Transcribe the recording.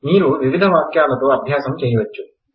మీరు వివిధ వాక్యాలతో అభ్యాసం చెయ్యవచ్చు